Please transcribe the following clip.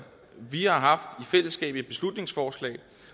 vi har i fællesskab haft et beslutningsforslag